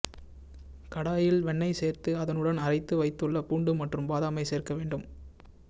கடாயில் வெண்ணெய் சேர்த்து அதனுடன் அரைத்து வைத்துள்ள பூண்டு மற்றும் பாதாமை சேர்க்க வேண்டும்